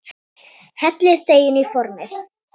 Hellið deiginu í formið.